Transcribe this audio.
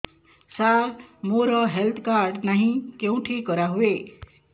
ସାର ମୋର health card ନାହିଁ କେଉଁଠି କରା ହୁଏ